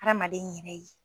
Adamaden y'i yɛrɛ de ye